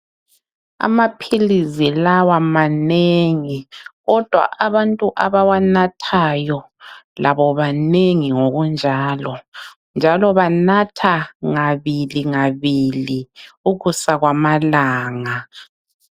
Amaphilizi lawa manengi kodwa abantu abawanathayo labobanengi ngokunjalo ,njalo banatha ngabili ngabili ukusa kwamalanga.